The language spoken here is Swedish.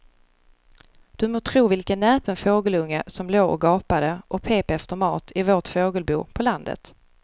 Du må tro vilken näpen fågelunge som låg och gapade och pep efter mat i vårt fågelbo på landet.